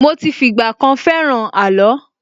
Mo ti fìgbà kan fẹ́ràn àló.